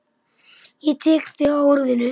Ég tek þig á orðinu!